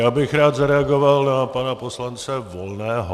Já bych rád zareagoval na pana poslanec Volného.